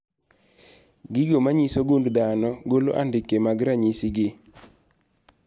Gigo manyiso gund dhano golo andike mag ranyisi gi